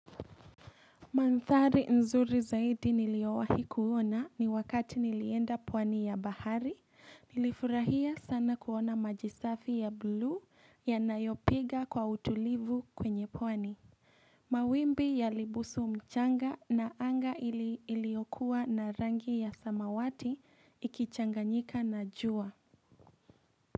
Mandhari nzuri zaidi niliowahi kuona ni wakati nilienda pwani ya bahari nilifurahia sana kuona maji safi ya blue yanayopiga kwa utulivu kwenye pwani mawimbi yalibusu mchanga na anga iliokuwa na rangi ya samawati ikichanganyika na jua.